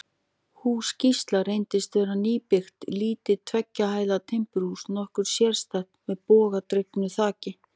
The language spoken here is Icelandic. Hús Gísla reyndist vera nýbyggt, lítið tveggja hæða timburhús, nokkuð sérstætt, með bogadregnu þaki.